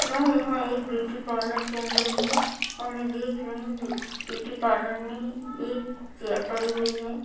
मैं यहाँ एक ब्यूटी पार्लर के अंदर हूं और मैं देख रही हूं ब्यूटी पार्लर में एक चेयर पड़ी हुई है ।